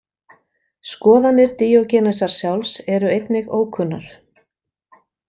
Skoðanir Díogenesar sjálfs eru einnig ókunnar.